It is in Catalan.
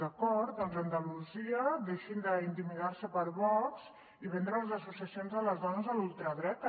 d’acord doncs a andalusia deixin d’intimidar se per vox i de vendre les associacions de les dones a l’ultradreta